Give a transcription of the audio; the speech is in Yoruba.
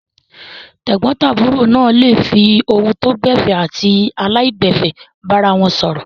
Tẹ̀gbọ́ntàbúrò náà le fi ohùn tó gbẹ̀fẹ̀ àti aláìgbẹ̀fẹ̀ bára wọn sọ̀rọ̀.